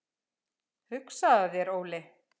Hugsaðu þér Óli!